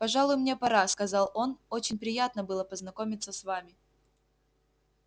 пожалуй мне пора сказал он очень приятно было познакомиться с вами